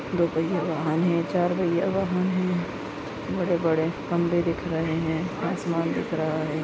दो पहिया वाहन है चार पहिया वाहन है बड़े बड़े खंबे दिख रहे है आसमान दिख रहा है।